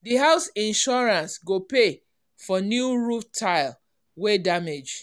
the house insurance go pay for new roof tile wey damage.